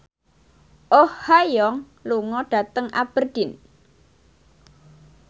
Oh Ha Young lunga dhateng Aberdeen